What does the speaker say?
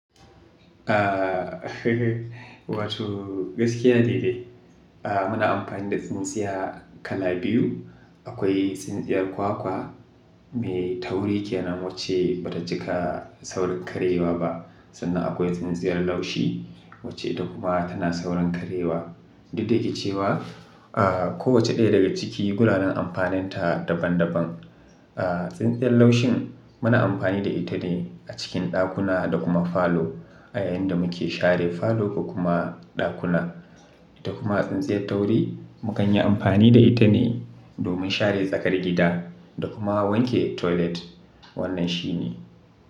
Wato gaskiya ne dai. Muna amfani da tsintsiya kala biyu. Akwai tsintsiyar kwakwa mai tauri kenan wacce ba ta cika saurin karyewa ba sannan akwai tsintsiyar laushi wacce ita kuma tana saurin karyewa. Daddare ke cewa, a ko wace ɗaya daga ciki, guraren amfaninta daban daban. A tsintsiyar laushin muna amfani da ita ne a cikin ɗakuna da kuma falo a yayin da muke share falo ko kuma ɗakuna. Da kuma tsintsiyar tauri, mu kan yi amfani da ita ne domin share tsakar gida da kuma wanke toilet. Wannan shi ne.